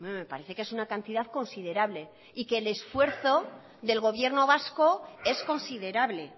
me parece que es una cantidad considerable y que el esfuerzo del gobierno vasco es considerable